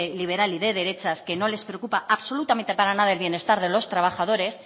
liberal y de derechas que nos le preocupa absolutamente para nada el bienestar de los trabajadores